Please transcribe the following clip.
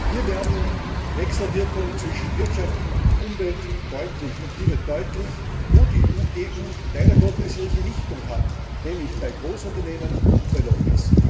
Hier werden Wechselwirkungen zwischen Wirtschaft und Umwelt deutlich. Und hier wird deutlich, wo die EU leider Gottes ihre Gewichtung hat, nämlich bei Großunternehmen und bei Lobbies.